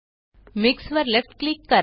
mix वर left click करा